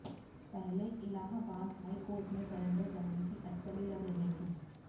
पहले इलाहाबाद हाईकोर्ट में सरेंडर करने की अटकलें लग रहीं थीं